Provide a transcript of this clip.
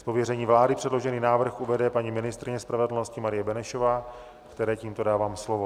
Z pověření vlády předložený návrh uvede paní ministryně spravedlnosti Marie Benešová, které tímto dávám slovo.